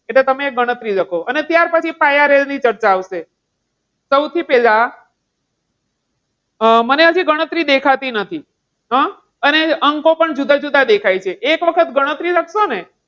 એટલે તમને ગણતરી લખો અને ત્યાર પછી તમે pi RL ની ચર્ચા આવશે. સૌથી પહેલા અમ મને હજી ગણતરી દેખાતી નથી. અને અંકો પણ જુદા જુદા દેખાય છે એક વખત ગણતરી લખશો ને!